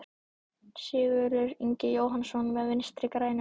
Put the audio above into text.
Sigurður Ingi Jóhannsson: Með Vinstri-grænum?